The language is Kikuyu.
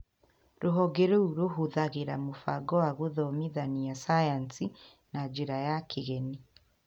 Rũhonge rũu rũhũthagĩra mũbango wa gũthomithia Sayansi na njĩra ya kĩgeni